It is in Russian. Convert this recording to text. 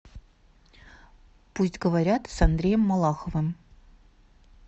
пусть говорят с андреем малаховым